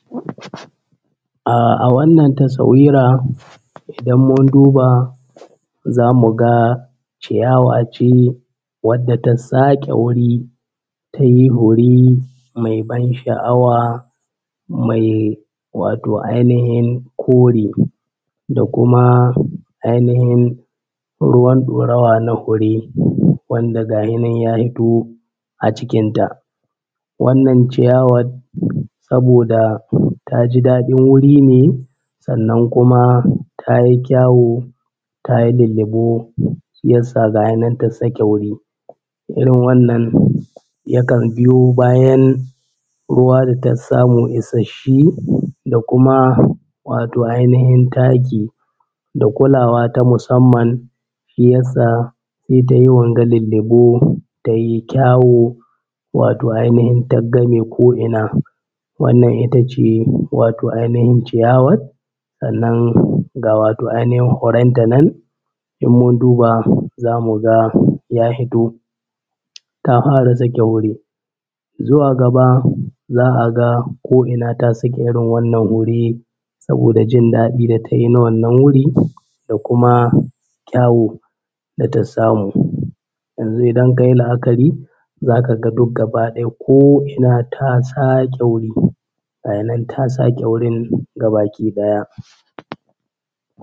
Ah a wannan tasawira idan mun duba za mu ga ciyawa ce wadda ta saƙe wuri ta yi hure mai ban sha’awa mai wato ainihin kore da kuma ainihin ruwan ɗorawa na hure wanda gaya nan ya fito a cikin ta. Wannan ciyawat saboda ta ji daɗin wuri ne sannan kuma ta yi kyawu ta yi lillibo shiyasa gaya nan ta sake wuri, irin wannan yakan biyo bayan ruwa da tas samu isasshe da kuma wato ainihin taki da kulawa ta musamman shi yassa ta yi wanga lillibo ta yi kyawu wato ainihin taggame ko’ina. Wannan itace wato ainihin ciyawar sannan ga wato ainihin huren ta nan in mun duba za mu ga ya hito ta hwara zaƙe wuri. Zuwa gaba a ga ko’ina ta saƙe irin wannan hure saboda jin daɗi da ta yi na wannan wuri da kuma kyawu da ta samu. Yanzu idan ka yi la’akari za ka ga duk gaba ɗaya ko ina ta saƙe wuri, gaya nan ta saƙe wurin ga baki ɗaya.